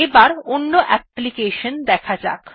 এবার অন্য অ্যাপ্লিকেশন দেখা যাক